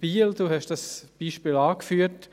Sie haben dieses Beispiel angeführt.